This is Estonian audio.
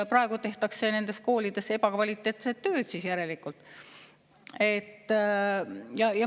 Praegu tehakse nendes koolides siis järelikult ebakvaliteetset tööd.